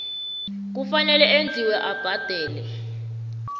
kufanele enziwe abhadele